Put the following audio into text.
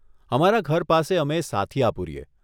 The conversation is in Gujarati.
અમારા ઘર પાસે અમે સાથીયા પુરીએ.